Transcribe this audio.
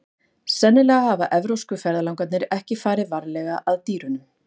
Sennilega hafa evrópsku ferðalangarnir ekki farið varlega að dýrunum.